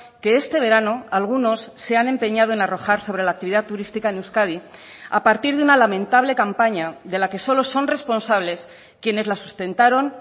que este verano algunos se han empeñado en arrojar sobre la actividad turística en euskadi a partir de una lamentable campaña de la que solo son responsables quienes la sustentaron